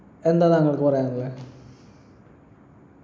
എന്താ താങ്കൾക്ക് പറയാനുള്ളേ